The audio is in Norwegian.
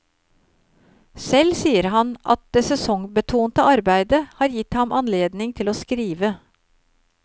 Selv sier han at det sesongbetonte arbeidet har gitt ham anledning til å skrive.